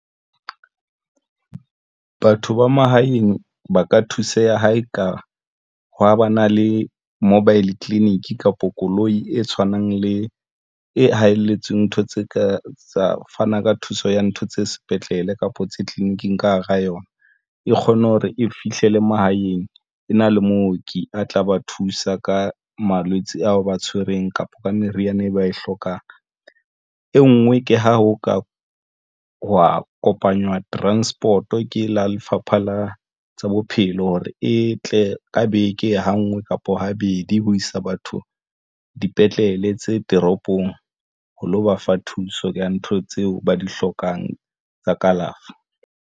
Batho ba mahaeng ba ka thuseha ha eka ha ba na le Mobile Clinic kapo koloi e tshwanang le e haelletseng ntho tse ka fana ka thuso ya ntho tse sepetlele kapa tse tleliniking ka hara yona. E kgone hore e fihlele mahaeng e na le mooki a tla ba thusa ka malwetse ao ba tshwereng kapa ka meriana e ba e hlokang. E nngwe ke ha ho ka hwa kopanywa transport o ke lo Lefapha la tsa Bophelo hore e tle ka beke ha ngwe kapa habedi ho isa batho dipetlele tse toropong ho lo ba fa thuso ka ntho tseo ba di hlokang tsa kalafo.